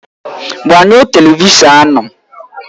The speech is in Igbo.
Gbanyụọ Televishọn ahụ!